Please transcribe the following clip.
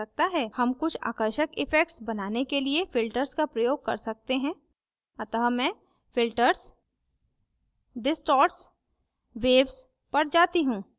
हम कुछ आकर्षक effects बनाने के लिए filters का प्रयोग कर सकते हैं अतः मैं filters distorts waves पर जाती हूँ